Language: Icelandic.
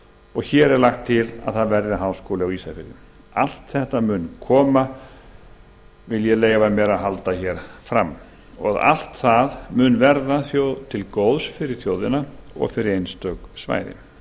og hér er lagt til að það verði háskóli á ísafirði allt þetta mun koma vil ég leyfa mér að halda fram og verða til góðs fyrir þjóðina og einstök svæði